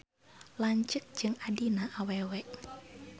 Lanceuk jeung adina awewe.